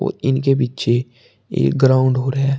इनके पीछे एक ग्राउंड और है।